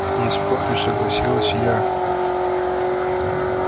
не спорю согласилась я